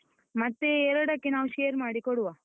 ಮತ್ತೆ ಎರಡಕ್ಕೆ ನಾವು ಮಾಡಿ ಕೊಡುವ,